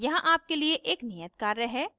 यहाँ आपके लिए एक नियत कार्य है